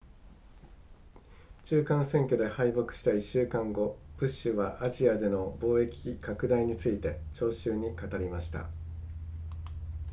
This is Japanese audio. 中間選挙で敗北した1週間後ブッシュはアジアでの貿易拡大について聴衆に語りました